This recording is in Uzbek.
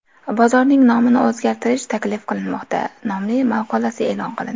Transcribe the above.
Bozorning nomini o‘zgartirish taklif qilinmoqda” nomli maqolasi e’lon qilindi.